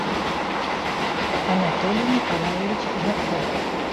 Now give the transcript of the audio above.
анатолий николаевич жарков